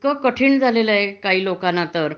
इतक कठीण झालेल आहे काही लोकांना तर